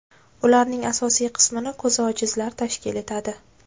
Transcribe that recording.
Ularning asosiy qismini ko‘zi ojizlar tashkil etadi.